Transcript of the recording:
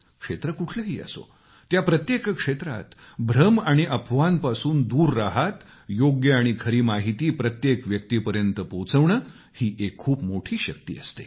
क्षेत्र कुठलेही असो त्या प्रत्येक क्षेत्रात भ्रम आणि अफवांपासून दूर राहत योग्य आणि खरी माहिती प्रत्येक व्यक्तीपर्यंत पोहचवणे ही खूप मोठी शक्ती असते